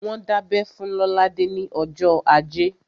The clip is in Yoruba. Wọ́n dábẹ́ fún Lolade ní ọjọ́ ajé